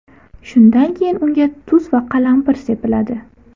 Shundan keyin unga tuz va qalampir sepiladi.